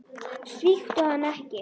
Svíktu hana ekki.